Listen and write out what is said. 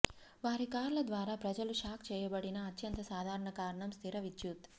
వారి కార్ల ద్వారా ప్రజలు షాక్ చేయబడిన అత్యంత సాధారణ కారణం స్థిర విద్యుత్